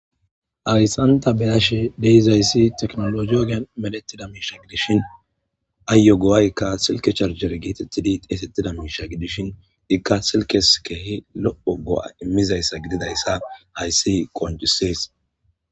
Hayisan beyashe deizayssi teknolo giogean medetida miisha gidishin ayyo go'aykka silke charjer geetetidi teesettida miisha gidishin ikka silkes keehi lo'o go'a immizayssa gididayssa hayssi qonjisees